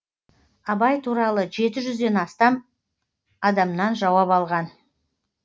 абай туралы жеті жүзден астам адаманан жауап алған